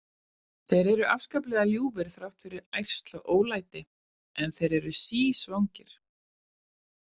Þeir eru óskaplega ljúfir þrátt fyrir ærsl og ólæti, en þeir eru sísvangir.